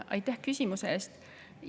Aitäh küsimuse eest!